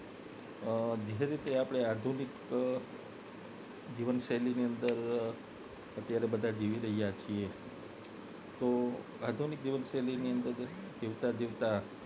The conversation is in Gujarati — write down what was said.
અ જે રીતે આપને આધુનિક જીવનશૈલીની અંદર ત્યારે બધા જેવી શકીએ છે તો આધુનિક જીવનશૈલીની અંદર ની જીવતા જીવતા